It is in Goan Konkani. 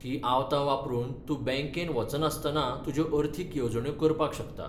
हीं आवतां वापरून तूं बँकेंत वचनासतना तुज्यो अर्थीक येवजण्यो करपाक शकता.